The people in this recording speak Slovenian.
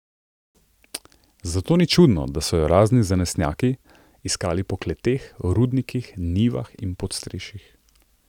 Zato ni čudno, da so jo razni zanesenjaki iskali po kleteh, rudnikih, njivah in podstrešjih.